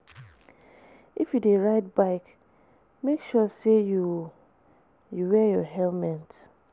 If you de ride bike make sure say you you wear your helmet